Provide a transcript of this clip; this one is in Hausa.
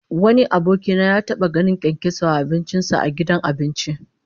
Wani aboki na ya taba ganin kyankyaso a abincin sa a gidan abinci